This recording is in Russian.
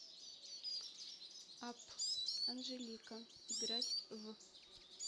апп анжелика играть в